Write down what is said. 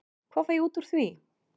Hvað fæ ég út úr því?